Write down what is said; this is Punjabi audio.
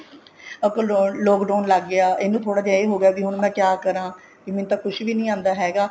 lockdown ਲੱਗ ਗਿਆ ਇਹਨੂੰ ਥੋੜਾ ਜਾ ਇਹ ਹੋਗਿਆ ਵੀ ਹੁਣ ਮੈਂ ਕਿਆ ਕਰਾਂ ਵੀ ਮੈਨੂੰ ਤਾਂ ਕੁੱਝ ਵੀ ਨੀ ਆਉਂਦਾ ਹੈਗਾ